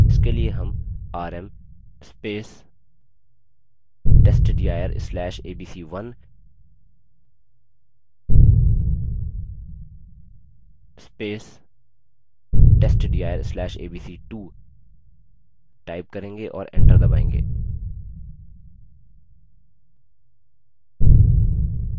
इसके लिए rm rm testdir/abc1 testdir/abc2 type करेंगे और enter दबायेंगे